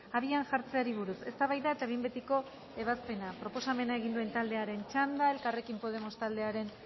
abian jartzeari buruz eztabaida eta behin betiko ebazpena proposamena egin duen taldearen txanda elkarrekin podemos taldearen